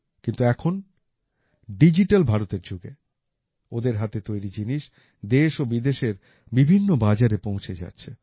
কিন্তু এখন ডিজিটাল ভারতের যুগে ওদের হাতে তৈরি জিনিস দেশ ও বিদেশের বিভিন্ন বাজারে পৌঁছে যাচ্ছে